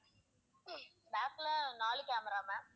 back ல நாலு camera ma'am